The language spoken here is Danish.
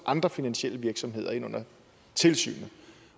andre finansielle virksomheder ind under tilsynet